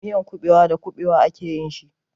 Miyan kuɓewa da kuɓewa a ke yin shi.